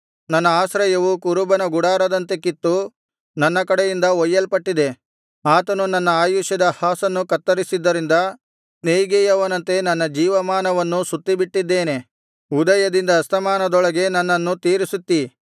ನನ್ನ ಆಶ್ರಯವು ಕುರುಬನ ಗುಡಾರದಂತೆ ಕಿತ್ತು ನನ್ನ ಕಡೆಯಿಂದ ಒಯ್ಯಲ್ಪಟ್ಟಿದೆ ಆತನು ನನ್ನ ಆಯುಷ್ಯದ ಹಾಸನ್ನು ಕತ್ತರಿಸಿದ್ದರಿಂದ ನೆಯಿಗೆಯವನಂತೆ ನನ್ನ ಜೀವಮಾನವನ್ನು ಸುತ್ತಿಬಿಟ್ಟಿದ್ದೇನೆ ಉದಯದಿಂದ ಅಸ್ತಮಾನದೊಳಗೇ ನನ್ನನ್ನು ತೀರಿಸುತ್ತೀ